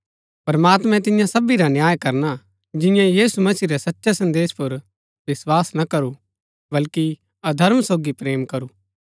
प्रमात्मैं तिन्या सबी रा न्याय करना जिन्यै यीशु मसीह रै सच्चै संदेश पुर विस्वास ना करू बल्कि अधर्म सोगी प्रेम करू